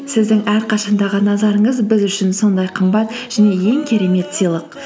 сіздің әрқашандағы назарыңыз біз үшін сондай қымбат және ең керемет сыйлық